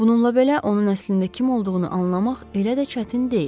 Bununla belə, onun əslində kim olduğunu anlamaq elə də çətin deyil.